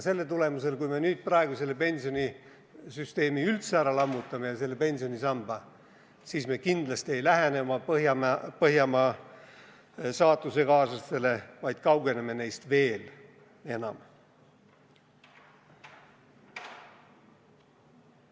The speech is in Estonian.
Kui me praegu oma pensionisüsteemi üldse ära lammutame ja likvideerime teise pensionisamba, siis me kindlasti ei lähene Põhjamaade saatusekaaslastele, vaid kaugeneme neist veel enam.